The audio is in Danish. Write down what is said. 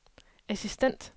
assistent